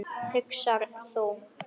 hugsar þú.